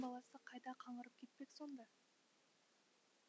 баласы қайда қаңғырып кетпек сонда